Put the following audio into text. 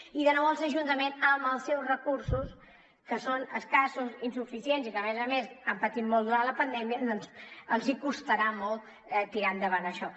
i de nou als ajuntaments amb els seus recursos que són escassos i insuficients i que a més a més han patit molt durant la pandèmia doncs els costarà molt tirar endavant això